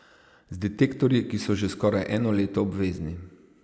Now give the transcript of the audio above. Z detektorji, ki so že skoraj eno leto obvezni.